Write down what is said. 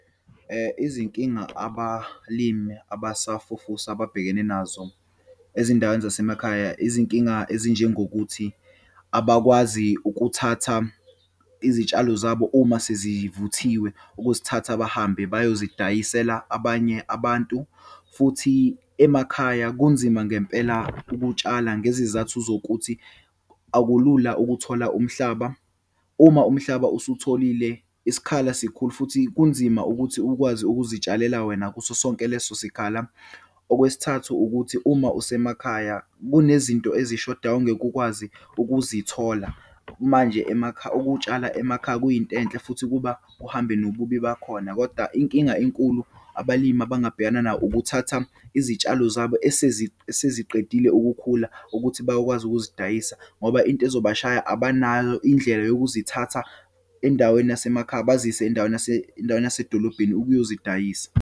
Izinkinga abalimi abasafufusa ababhekene nazo ezindaweni zase makhaya, izinkinga ezinjengokuthi, abakwazi ukuthatha izitshalo zabo uma sezivuthiwe, ukuzithatha bahambe bayozidayisela abanye abantu. Futhi emakhaya kunzima ngempela ukutshala, ngezizathu zokuthi akulula ukuthola umhlaba. Uma umhlaba usuwutholile, isikhala sikhulu futhi kunzima ukuthi ukwazi ukuzitshalela wena kuso sonke leso sikhala. Okwesithathu ukuthi, uma usemakhaya kunezinto ezishodayo, ungeke ukwazi ukuzithola. Manje, ukutshala emakhaya kuyinto enhle futhi kuba kuhambe nobubi bakhona. Kodwa inkinga enkulu abalimi abangabhekana nayo, ukuthatha izitshalo zabo eseziqedile ukukhula ukuthi bayokwazi ukuzidayisa ngoba into ezobashaya, abanalo indlela yokuzithatha endaweni yase makhaya bazise endaweni yase, endaweni yasedolobheni ukuyozidayisa.